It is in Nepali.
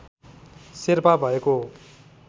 शेर्पा भएको हो